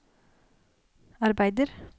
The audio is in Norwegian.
arbeider